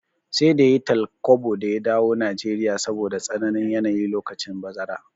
Sai da yayi tal kwabo da ya dawo Nigeria saboda tsananin yanayi lokacin bazara